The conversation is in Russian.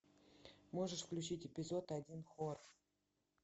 можешь включить эпизод один хор